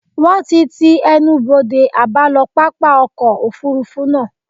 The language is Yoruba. Wón ti ti ẹnubodè àbálọ pápá ọkọ̀ Òfurufú náà.